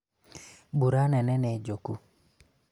mbura nene nĩ njũku